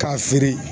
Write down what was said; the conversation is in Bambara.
K'a siri